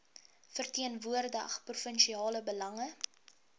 verteenwoordig provinsiale belange